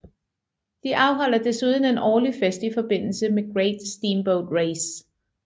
De afholder desuden en årlig fest i forbindelse med Great Steamboat Race